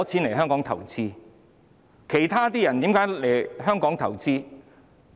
為何其他人願意來香港投資？